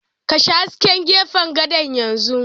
Kashe hasken gefen gadon yanzu!